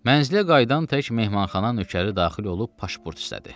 Mənzilə qayıdan tək mehmənxana nökəri daxil olub pasport istədi.